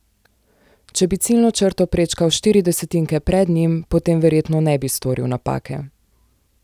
Če bi ciljno črto prečkal štiri desetinke pred njim, potem verjetno ne bi storil napake.